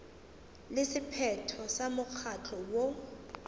le sephetho sa mokgatlo woo